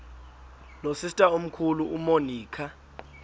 nosister omkhulu umonica